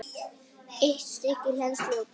Eitt stykki hleðslu og banana.